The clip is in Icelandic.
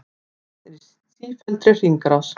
Vatn er í sífelldri hringrás.